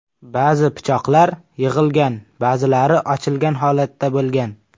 Ba’zi pichoqlar yig‘ilgan, ba’zilari ochilgan holatda bo‘lgan.